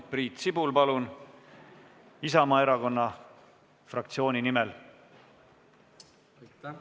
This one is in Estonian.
Priit Sibul Isamaa fraktsiooni nimel, palun!